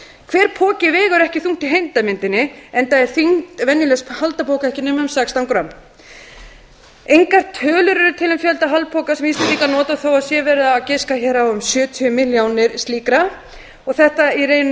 hver poki vegur ekki þungt í heildarmyndinni enda er þyngd venjulegs haldapoka ekki nema um sextán grömm engar tölur eru til um fjölda haldapoka sem íslendingar nota þó að það sé verið að giska hér á um sjötíu milljónir slíkra og þetta í rauninni